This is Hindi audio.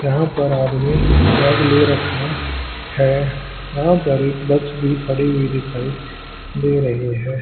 यहां पर आदमी ने बैग ले रखा है यहां पर एक बस भी खड़ी हुई दिखाई दे रही है।